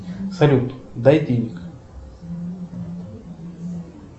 салют дай денег